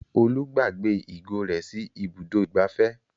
Olú gbàgbé ìgò rẹ̀ sí Ibùdó-ìgbafẹ́.